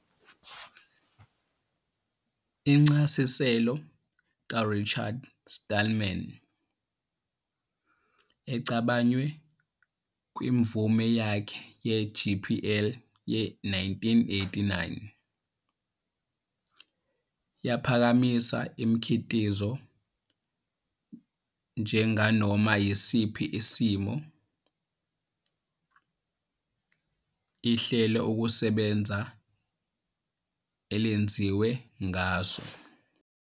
Incasiselo kaRichard Stallman, ecabaywe kwimvume yakhe ye-GPL ye-1989, yaphakamisa umkitizo njenganoma isiphi isimo ihlelokusebenza elenziwe ngaso.